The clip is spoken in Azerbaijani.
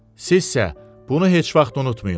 Sizsə bunu heç vaxt unutmayın.